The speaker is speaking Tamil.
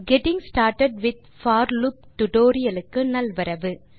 getting started with for loop tutorial க்கு நல்வரவு